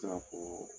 Se ka fɔ